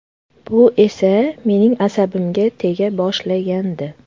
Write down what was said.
Bu esa mening asabimga tega boshlagandi.